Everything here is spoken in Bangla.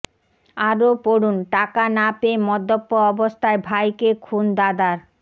আরও পড়ুন টাকা না পেয়ে মদ্যপ অবস্থায় ভাইকে খুন দাদার